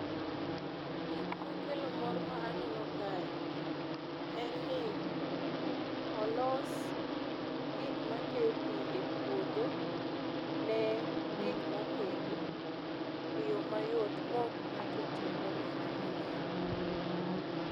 Gik makelo mor ma aneno kae, en ni olos gik makeyo pii epuodho ne gik mopidhi eyoo mayot maok ng'ato otiyo gomenda mang'eny.